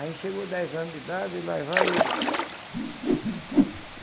Aí chegou dez anos de idade e lá vai eu.